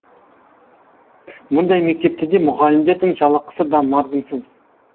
мұндай мектептерде мұғалімдердің жалақысы да мардымсыз